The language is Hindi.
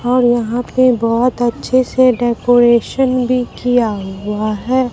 और यहां पे बहुत अच्छे से डेकोरेशन भी किया हुआ है।